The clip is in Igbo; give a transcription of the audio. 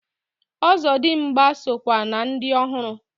Ọzọdimgba so kwa na ndi ohụrụ.